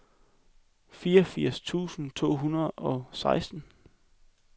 fireogfirs tusind to hundrede og seksten